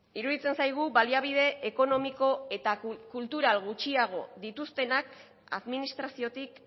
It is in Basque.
iruditzen zaigu baliabide ekonomiko eta kultural gutxiago dituztenak administraziotik